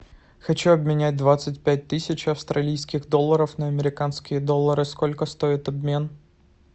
хочу обменять двадцать пять тысяч австралийских долларов на американские доллары сколько стоит обмен